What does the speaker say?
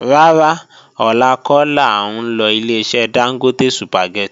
Rárá, ọ̀la kọ́ làá ń lọ Ileṣẹ́ Dángótè Sùpàgẹ́tì